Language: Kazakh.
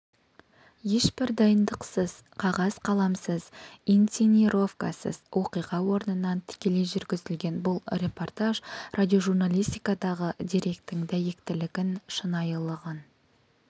ешбір дайындықсыз қағаз-қаламсыз инцинировкасыз оқиға орнынан тікелей жүргізілген бұл репортаж радиожурналистикадағы деректің дәйектілігін шынайылығын